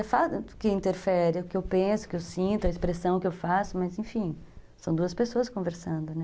É fato que interfere o que eu penso, o que eu sinto, a expressão que eu faço, mas, enfim, são duas pessoas conversando, né?